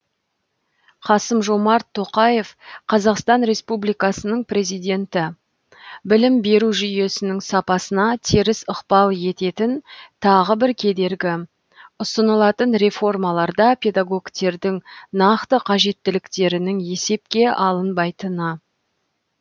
қасым жомарт тоқаев қазақстан республикасының президенті білім беру жүйесінің сапасына теріс ықпал ететін тағы бір кедергі ұсынылатын реформаларда педагогтердің нақты қажеттіліктерінің есепке алынбайтыны